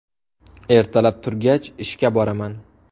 Ertalab turgach ishga boraman.